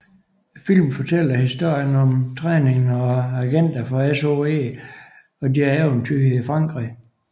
Filmen fortæller historien om træningen af agenter for SOE og deres eventyr i Frankrig